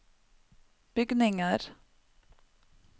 bygninger